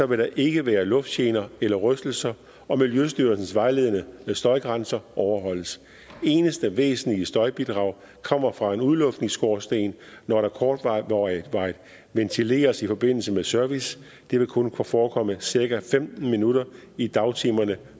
vil der ikke være lugtgener eller rystelser og miljøstyrelsens vejledende støjgrænser overholdes det eneste væsentlige støjbidrag kommer fra en udluftningsskorsten når der kortvarigt ventileres i forbindelse med service det vil kun forekomme i cirka femten minutter i dagtimerne